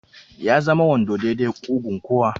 Ya zama wando daidai da ƙugun kowa.